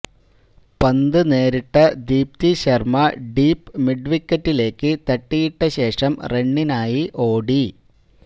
പന്ത് നേരിട്ട ദീപ്തി ശര്മ ഡീപ് മിഡ്വിക്കറ്റിലേക്ക് തട്ടിയിട്ട ശേഷം റണ്ണിനായി ഓടി